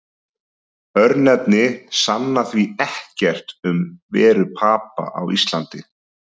Örnefni sanna því ekkert um veru Papa á Íslandi.